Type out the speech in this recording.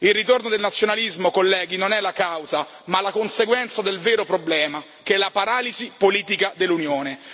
Il ritorno del nazionalismo, colleghi, non è la causa ma la conseguenza del vero problema, che è la paralisi politica dell'Unione.